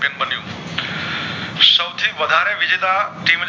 વધારે વીજેતા